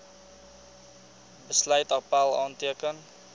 besluit appèl aanteken